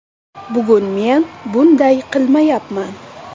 Bugun men bunday qilmayapman.